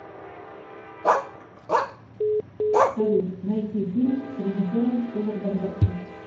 салют найти фильм с режисером федор бондарчук